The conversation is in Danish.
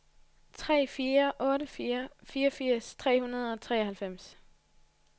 tre fire otte fire fireogfirs tre hundrede og treoghalvfems